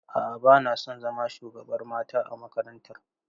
A'a, bana son zama shugabar mata a makarantar.